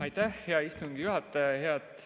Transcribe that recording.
Aitäh, hea istungi juhataja!